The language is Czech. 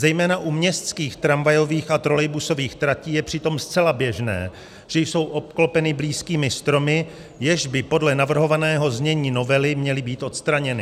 Zejména u městských tramvajových a trolejbusových tratí je přitom zcela běžné, že jsou obklopeny blízkými stromy, jež by podle navrhovaného znění novely měly být odstraněny.